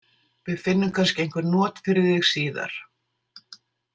Við finnum kannski einhver not fyrir þig síðar.